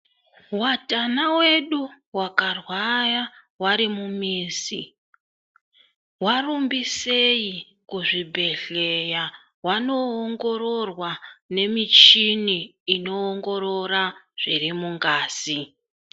Watana wedu wakarwaya warimumizi warumbisei kuzvibhehleya wanoongororwa memishini inoongorora zviri mungazi.